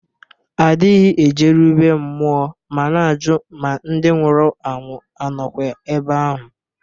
A dịghị ejeru bee mmụọ ma na-ajụ ma ndị nwụrụ anwụ a nọkwa ebe ahụ